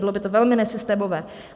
Bylo by to velmi nesystémové.